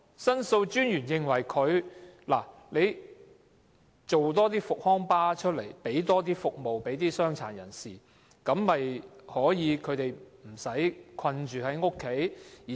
申訴專員亦認為，運輸署應提供更多復康巴士，服務傷殘人士，令他們不用困在家中。